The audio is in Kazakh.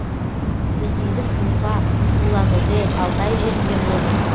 ресейдің уфа улан удэ алтай жерінде болдым